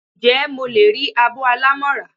Njé mo le ri abó alámo ra?